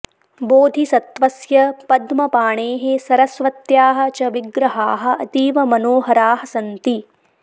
बोधिसत्वस्य पद्मपाणेः सरस्वत्याः च विग्रहाः अतीव मनोहराः सन्ति